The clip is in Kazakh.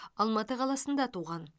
алматы қаласында туған